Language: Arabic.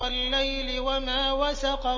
وَاللَّيْلِ وَمَا وَسَقَ